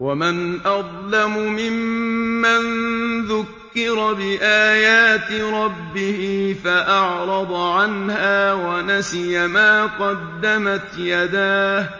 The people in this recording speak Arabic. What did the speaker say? وَمَنْ أَظْلَمُ مِمَّن ذُكِّرَ بِآيَاتِ رَبِّهِ فَأَعْرَضَ عَنْهَا وَنَسِيَ مَا قَدَّمَتْ يَدَاهُ ۚ